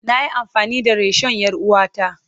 Na yi amfani da rishon 'yar uwata.